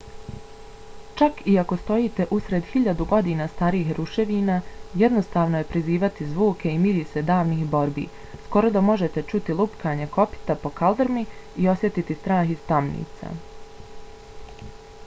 čak i ako stojite usred hiljadu godina starih ruševina jednostavno je prizvati zvuke i mirise davnih borbi skoro da možete čuti lupkanje kopita po kaldrmi i osjetiti strah iz tamnica